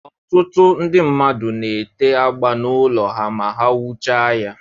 Ọtụtụ ndị mmadụ na-ete agba n'ụlọ ha ma ha wuchaa ya.